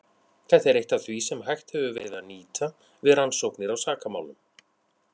Þetta er eitt af því sem hægt hefur verið að nýta við rannsóknir á sakamálum.